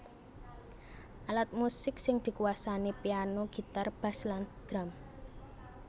Alat musik sing dikuwasani piano gitar bass lan drum